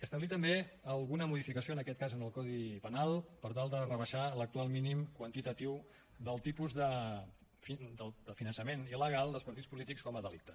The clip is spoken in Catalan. establir també alguna modificació en aquest cas en el codi penal per tal de rebaixar l’actual mínim quantitatiu del tipus de finançament il·legal dels partits polítics com a delicte